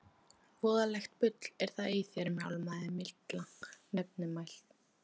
Voðalegt bull er í þér mjálmaði Milla nefmælt.